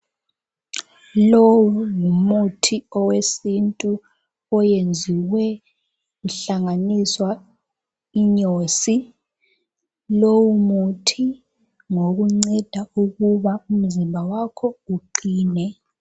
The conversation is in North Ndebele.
Lowu ngumuthi owesiNtu oyenziwe kuhlanganiswa inyosi. Lowu muthi ngowokunceda ukuba umzimba wakho uqine.